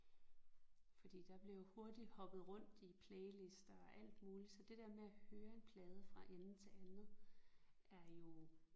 Fordi der bliver jo hurtigt hoppet rundt i playlister og alt muligt så det der med at høre en plade fra ende til andet er jo